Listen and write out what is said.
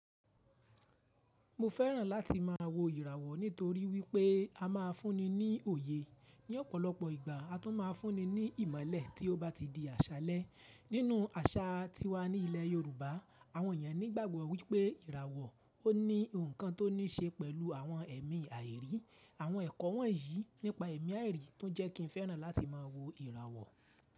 Mo fẹ́ràn láti máa wo ìràwọ̀ nítorí wípé a máa fúnni ní òye ní ọ̀pọ̀lọpọ̀ ìgbà a tún máa fúnni ní ìmọ̀lẹ̀ tí ó bá ti di àṣálẹ́. Nínú àṣà tí wá ní ilẹ̀ Yorùbá, àwọn èèyàn nígbàgbọ́ wípé ìràwọ̀ ó ní ohun kan tó ní ṣe pẹ̀lú àwọn ẹ̀mí àìrí. Àwọn ẹ̀kọ́ wọ̀nyí nípa ẹ̀mí àìrí tó jẹ́ kí ń fẹ́ràn láti máa wo ìràwọ̀.